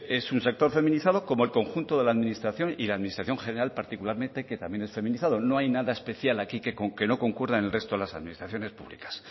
es un sector feminizado como el conjunto de la administración y la administración general particularmente que también es feminizado no hay nada especial aquí que no concuerda en el resto de las administraciones públicas